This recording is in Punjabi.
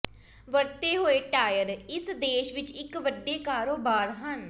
ਵਰਤੇ ਹੋਏ ਟਾਇਰ ਇਸ ਦੇਸ਼ ਵਿਚ ਇਕ ਵੱਡੇ ਕਾਰੋਬਾਰ ਹਨ